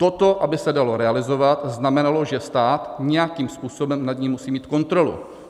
Toto aby se dalo realizovat, znamenalo, že stát nějakým způsobem nad ním musí mít kontrolu.